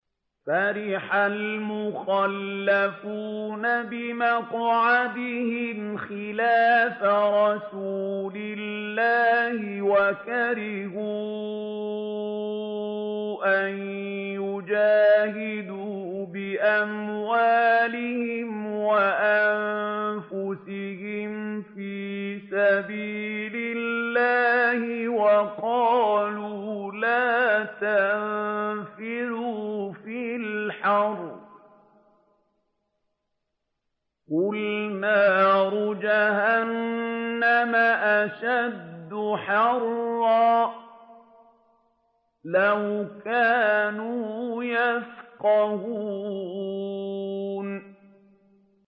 فَرِحَ الْمُخَلَّفُونَ بِمَقْعَدِهِمْ خِلَافَ رَسُولِ اللَّهِ وَكَرِهُوا أَن يُجَاهِدُوا بِأَمْوَالِهِمْ وَأَنفُسِهِمْ فِي سَبِيلِ اللَّهِ وَقَالُوا لَا تَنفِرُوا فِي الْحَرِّ ۗ قُلْ نَارُ جَهَنَّمَ أَشَدُّ حَرًّا ۚ لَّوْ كَانُوا يَفْقَهُونَ